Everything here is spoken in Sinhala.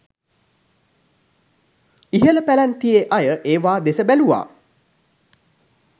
ඉහළ පැලැන්තියේ අය ඒවා දෙස බැලූව